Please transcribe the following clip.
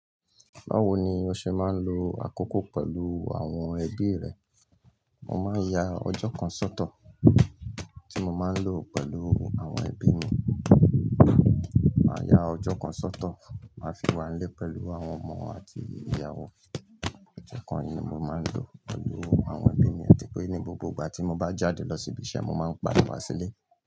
Báwo ni o ṣe máa ń lo àkókò pẹ̀lú àwọn ẹbí rẹ? Mo máa ń ya ọjọ́ kan sọ́tọ̀ tí mo máa ń lò pẹ̀lú àwọn ẹbí mi, màá ya ọjọ́ kan sọ́tọ̀, màá fi wá nlé pẹ̀lú àwọn ọmọ àti ìyàwó. Ọjọ́ kan ni mo máa ń lò pẹ̀lú àwọn ẹbí mi àti pé ní gbogbo ìgbà tí mo bá jáde lọ síbi iṣẹ́, mo máa ń pàdé wa sílé.